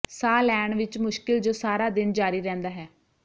ਸਾਹ ਲੈਣ ਵਿਚ ਮੁਸ਼ਕਿਲ ਜੋ ਸਾਰਾ ਦਿਨ ਜਾਰੀ ਰਹਿੰਦਾ ਹੈ